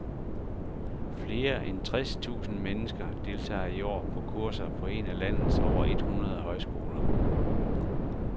Flere end tres tusinde mennesker deltager i år på kurser på en af landets over et hundrede højskoler.